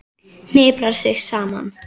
Hniprar sig saman.